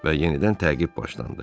Və yenidən təqib başlandı.